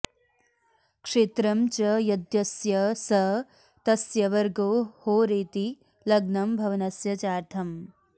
क्षेत्रं च यद्यस्य स तस्य वर्गो होरेति लग्नं भवनस्य चार्धम्